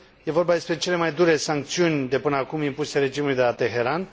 E vorba despre cele mai dure sancțiuni de până acum impuse regimului de la Teheran.